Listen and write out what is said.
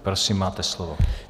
Prosím, máte slovo.